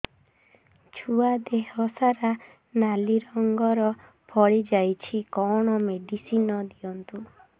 ଛୁଆ ଦେହ ସାରା ନାଲି ରଙ୍ଗର ଫଳି ଯାଇଛି କଣ ମେଡିସିନ ଦିଅନ୍ତୁ